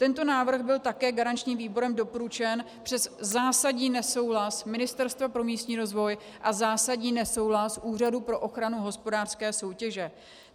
Tento návrh byl také garančním výborem doporučen přes zásadní nesouhlas Ministerstva pro místní rozvoj a zásadní nesouhlas Úřadu pro ochranu hospodářské soutěže.